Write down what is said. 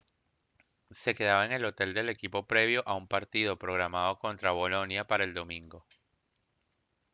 se quedaba en el hotel del equipo previo a un partido programado contra bolonia para el domingo